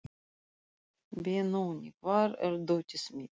Benóný, hvar er dótið mitt?